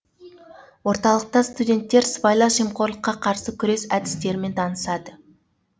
орталықта студенттер сыбайлас жемқорлыққа қарсы күрес әдістерімен танысады